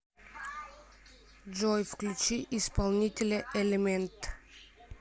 джой включи исполнителя элементд